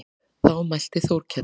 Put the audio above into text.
Þá mælti Þórkell